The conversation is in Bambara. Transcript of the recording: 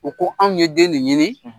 U ko anw ye den ni ɲini